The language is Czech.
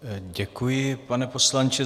Děkuji, pane poslanče.